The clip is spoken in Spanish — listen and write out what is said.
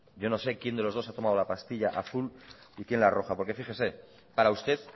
yo no sé quién de los dos ha tomado la pastilla azul y quién la roja porque fíjese para usted